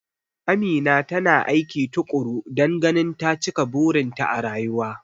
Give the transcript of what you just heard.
Amina tana aiki tukuru dan ganin ta cika burin ta a rayuwa